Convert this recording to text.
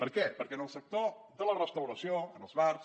per què perquè en el sector de la restauració en els bars